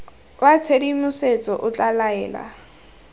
wa tshedimosetso o tla laela